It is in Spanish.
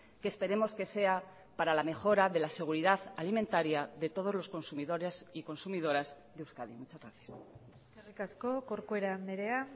que esperemos que sea para la mejora de la seguridad alimentaria de todos los consumidores y consumidoras de euskadi muchas gracias eskerrik asko corcuera andrea